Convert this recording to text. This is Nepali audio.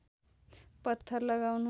पत्थर लगाउनु